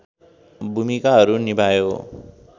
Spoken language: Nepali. भूमिकाहरू निभायो